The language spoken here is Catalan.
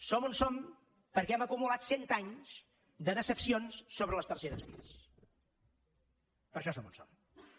som on som perquè hem acumulat cent anys de decepcions sobre les terceres vies per això som on som